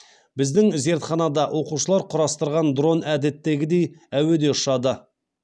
біздің зертханада оқушылар құрастырған дрон әдеттегідей әуеде ұшады